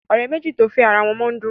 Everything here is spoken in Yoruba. òré méjì to fè àrà wón mọ ń dùn.